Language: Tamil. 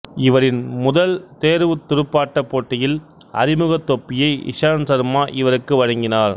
இவரின் முதல் தேர்வுத் துடுப்பாட்டப் போட்டியில் அறிமுக தொப்பியை இஷாந்த் ஷர்மா இவருக்கு வழங்கினார்